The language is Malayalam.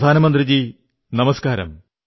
പ്രധാനമന്ത്രിജീ നമസ്കാർ